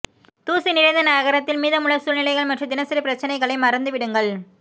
தூசி நிறைந்த நகரத்தில் மீதமுள்ள சூழ்நிலைகள் மற்றும் தினசரி பிரச்சினைகளை மறந்துவிடுங்கள்